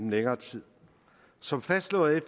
længere tid som fastslået af